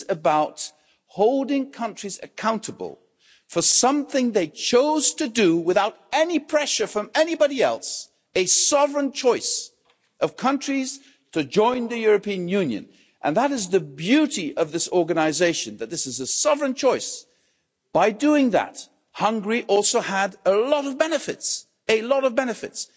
This is about holding countries accountable for something they chose to do without any pressure from anybody else, a sovereign choice of countries to join the European Union and that is the beauty of this organisation that this is a sovereign choice. By doing that, Hungary also had a lot of benefits, a lot of benefits.